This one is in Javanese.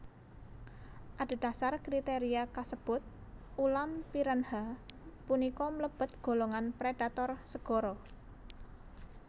Adhedhasar kriteria kasebut ulam piranha punika mlebet golongan predator segara